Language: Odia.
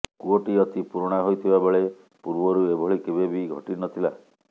କୂଅଟି ଅତି ପୁରୁଣା ହୋଇଥିବା ବେଳେ ପୂର୍ବରୁ ଏଭଳି କେବେ ବି ଘଟି ନଥିଲା